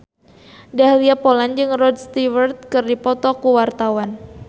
Dahlia Poland jeung Rod Stewart keur dipoto ku wartawan